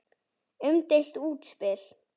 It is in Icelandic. Umdeilt útspil.